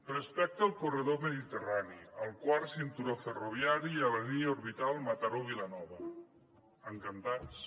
respecte al corredor mediterrani el quart cinturó ferroviari i la línia orbital mataró vilanova encantats